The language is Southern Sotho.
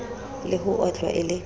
le ho otlwa e le